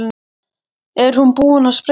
Er hún búin að sprengja sig?